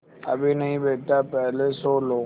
अभी नहीं बेटा पहले सो लो